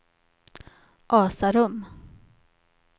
Asarum